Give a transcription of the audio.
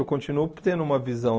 Eu continuo tendo uma visão.